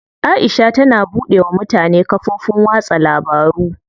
Aisha tana buɗe wa mutane kafofin watsa labaru.